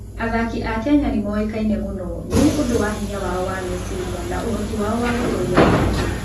Athaki a Kenya nĩ moĩkaine mũno nĩ ũndũ wa hinya wao wa meciria na ũhoti wao wa gũtooria moritũ.